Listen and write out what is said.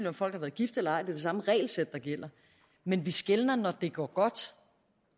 om folk har været gift eller ej det samme regelsæt der gælder men vi skelner når det går godt